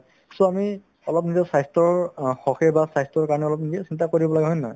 so, আমি অলপ নিজৰ স্বাস্থ্যৰ অ হকে বা স্বাস্থ্যৰ কাৰণে অলপ নিজে চিন্তা কৰিব লাগে হয় নে নহয়